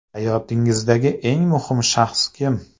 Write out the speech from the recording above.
Hayotingizdagi eng muhim shaxs kim?